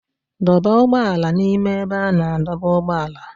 Dọba ụgbọ ala n'ime ebe a na-adọba ụgbọala.